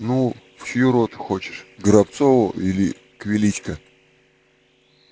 ну в чью роту хочешь к горобцову или к величко